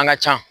An ka ca